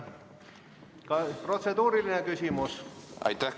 Kas protseduuriline küsimus?